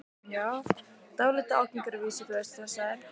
Dálítið ágengir að vísu, þú veist, stressaðir.